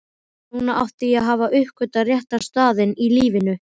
Núna átti ég að hafa uppgötvað rétta staðinn í lífinu.